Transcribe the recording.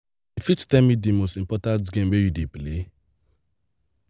you fit tell me di most popular game wey you dey play?